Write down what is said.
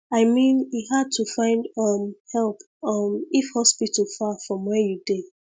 i mean e hard to find um help um if hospital far from where you dey